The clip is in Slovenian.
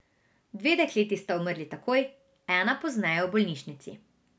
Dve dekleti sta umrli takoj, ena pozneje v bolnišnici.